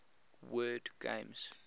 word games